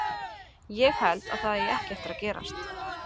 Ég held að það eigi ekki eftir að gerast.